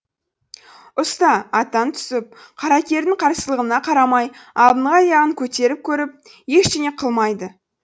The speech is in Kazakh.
ұста аттан түсіп қаракердің қарсылығына қарамай алдыңғы аяғын көтеріп көріп ештеңе қылмайды